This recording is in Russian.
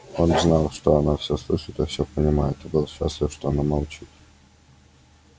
он знал что она все слышит и все понимает и был счастлив что она молчит